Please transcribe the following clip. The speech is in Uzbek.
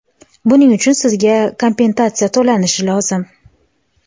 buning uchun sizga kompensatsiya to‘lanishi lozim.